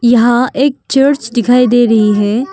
यहां एक चर्च दिखाई दे रही है।